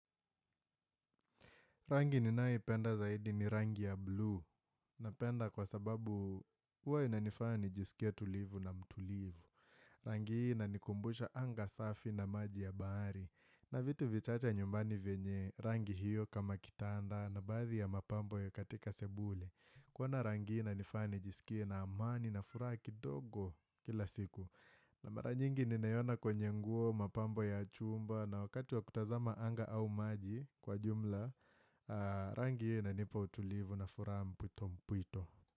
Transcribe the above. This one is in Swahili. Rangi ninayoipenda zaidi ni rangi ya buluu napenda kwa sababu huwa inanifanya nijisikie tulivu na mtulivu. Rangi hii ina nikumbusha anga safi na maji ya bahari na vitu vichacha nyumbani venye rangi hiyo kama kitanda na baadhi ya mapambo ya katika sebule. Kuwa na rangi hii inanifanya ninisikie na amani na furahi kidogo kila siku. Mara nyingi ni nayona kwenye nguo mapambo ya chumba na wakati wa kutazama anga au maji kwa jumla. Rangi na nipa utulivu na furaha puto mpuito.